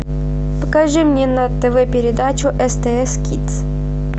покажи мне на тв передачу стс кидс